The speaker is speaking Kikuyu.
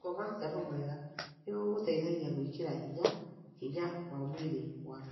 Gũkoma toro mwega nĩ gũgũteithagia gwĩkĩra hinya hinya wa mwĩrĩ waku.